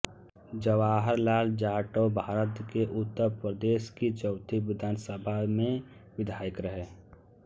जवाहर लाल जाटवभारत के उत्तर प्रदेश की चौथी विधानसभा सभा में विधायक रहे